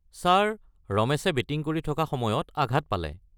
Sir, ৰমেশে batting কৰি থকা সময়ত আঘাত পালে।